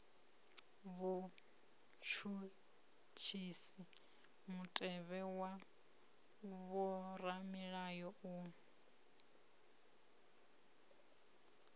vhutshutshisi mutevhe wa vhoramilayo u